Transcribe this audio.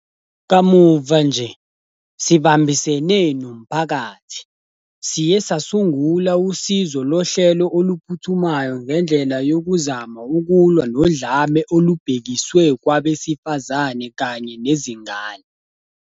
Kamuva nje, sibambisene, nomphakathi, siye sasungula usizo lohlelo oluphuthumayo ngendlela yokuzama ukulwa nodlame olubhekiswe kwabesifazane kanye nezingane.